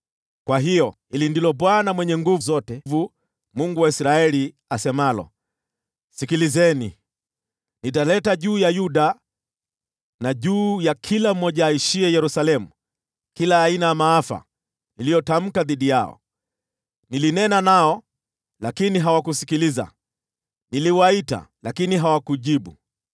“Kwa hiyo, hili ndilo Bwana Mungu Mwenye Nguvu Zote, Mungu wa Israeli, asemalo: ‘Sikilizeni! Nitaleta juu ya Yuda na juu ya kila mmoja aishiye Yerusalemu kila aina ya maafa niliyotamka dhidi yao. Nilinena nao, lakini hawakusikiliza. Niliwaita, lakini hawakujibu.’ ”